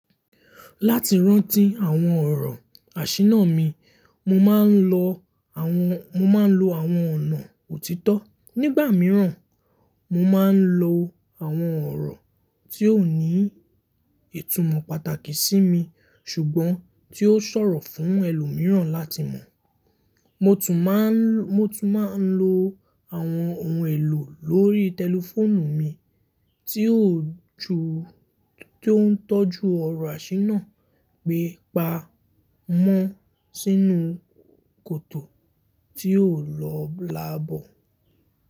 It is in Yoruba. Láti rántí àwọn ọ̀rọ̀ àṣínà mi, mo ma n lọ mo máa ń lo àwọn ọ̀nà òtítọ́. Nígbà mìíràn, mo máa ń lo àwọn ọ̀rọ̀ tí ó ní ìtumọ̀ pàtàkì sí mi ṣùgbọ́n tí ó ṣọ̀rọ̀ fún ẹlòmíràn láti mọ̀. Mo tún máa ń lo àwọn ohun èlò lórí tẹlifóònù mi tí ó ń tọ́jú ọ̀rọ̀ àṣínà gbé pa mọ́ sínú kòtò tí ó lọ labọ̀.